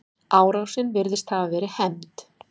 Árásin virðist hafa verið hefnd.